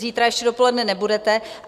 Zítra ještě dopoledne nebudete.